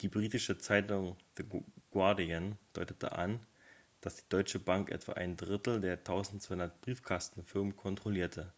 die britische zeitung the guardian deutete an dass die deutsche bank etwa ein drittel der 1200 briefkastenfirmen kontrollierte